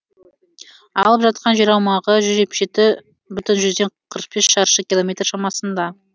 алып жатқан жер аумағы жүз жетпіс жеті бүтін жүзден қырық бес шаршы километр шамасында